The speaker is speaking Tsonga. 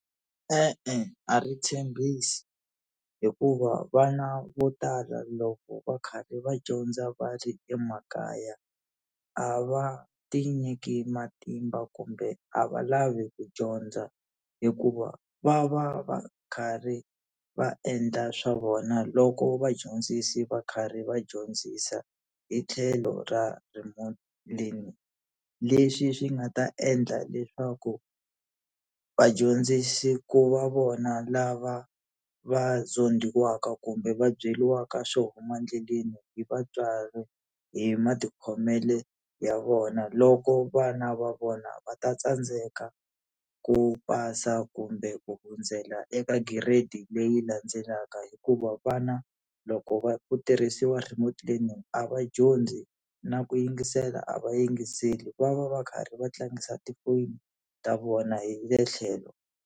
E-e a ri tshembisi, hikuva vana vo tala loko va karhi va dyondza va ri emakaya a va ti nyiki matimba kumbe a va lavi ku dyondza hikuva va va va karhi va endla swa vona loko vadyondzisi va karhi va dyondzisa hi tlhelo ra remote learning. Leswi swi nga ta endla leswaku vadyondzisi ku va vona lava va zondhiwaka kumbe va byeriwaka swo huma endleleni hi vatswari hi matikhomelo ya vona loko vana va vona va ta tsandzeka ku pasa kumbe ku hundzela eka giredi leyi landzelaka. Hikuva vana loko va ku tirhisiwa remote learning a va dyondzi na ku yingisela a va yingiseli, va va va karhi va tlangisa ti foni ta vona hi le tlhelo.